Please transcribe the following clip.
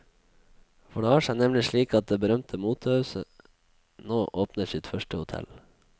For det har seg nemlig slik at det berømte motehuset nå åpner sitt første hotell.